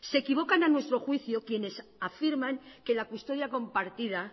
se equivocan a nuestro juicio quienes afirman que la custodia compartida